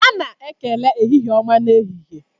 A na-ekele ehihie ọma n'ehihie.